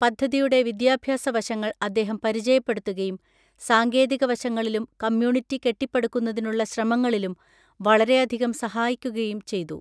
പദ്ധതിയുടെ വിദ്യാഭ്യാസ വശങ്ങൾ അദ്ദേഹം പരിചയപ്പെടുത്തുകയും സാങ്കേതിക വശങ്ങളിലും കമ്മ്യൂണിറ്റി കെട്ടിപ്പടുക്കുന്നതിനുള്ള ശ്രമങ്ങളിലും വളരെയധികം സഹായിക്കുകയും ചെയ്തു.